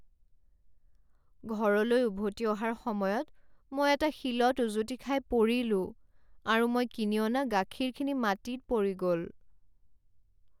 ঘৰলৈ উভতি অহাৰ সময়ত মই এটা শিলত উজুতি খাই পৰিলোঁ, আৰু মই কিনি অনা গাখীৰখিনি মাটিত পৰি গ'ল।